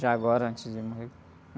Já agora, antes de morrer,